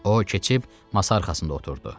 O keçib masa arxasında oturdu.